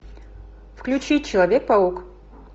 включи человек паук